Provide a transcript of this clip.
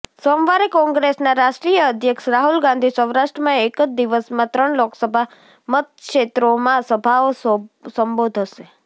સોમવારે કોંગ્રેસના રાષ્ટ્રીય અધ્યક્ષ રાહુલ ગાંધી સૌરાષ્ટ્રમાં એક જ દિવસમાં ત્રણ લોકસભા મતક્ષેત્રોમાં સભાઓ સંબોધશે